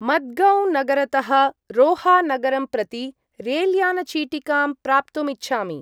मद्गौं-नगरतः रोहा-नगरं प्रति रेल्यान-चीटिकां प्राप्तुम् इच्छामि।